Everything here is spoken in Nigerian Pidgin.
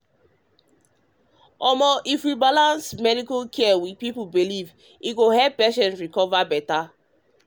omo if we balance medical care with people belief e go help patients recover better.